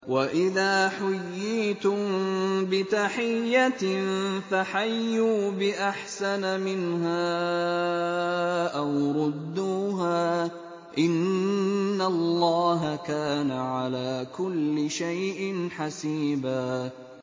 وَإِذَا حُيِّيتُم بِتَحِيَّةٍ فَحَيُّوا بِأَحْسَنَ مِنْهَا أَوْ رُدُّوهَا ۗ إِنَّ اللَّهَ كَانَ عَلَىٰ كُلِّ شَيْءٍ حَسِيبًا